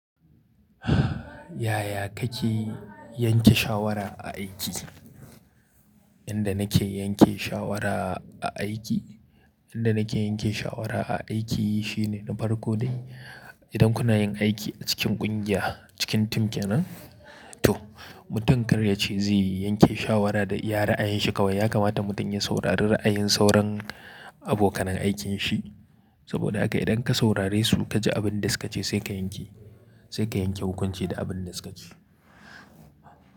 Yaya kake yanke shawara a aiki? Yanda nake yanke shawara a aiki, yanda nake yanke shawara a aiki shine na farko dai idan kuna yin aiki a cikin ƙungiya, cikin tim kenin, to mutum karya ce zai yanke shawara da iya ra'ayin shi kawai. Ya kamata mutum ya saurari ra'ayin sauran abokanan aikin shi. Saboda haka idan ka saurare su ka ji abin da suka ce sai ka yanke, sai ka yanke hukunci da abin da suka ce.